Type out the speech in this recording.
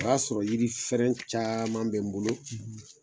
O y'a sɔrɔ yiri fɛrɛn caman bɛ n bolo.